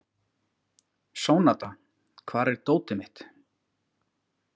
Sónata, hvar er dótið mitt?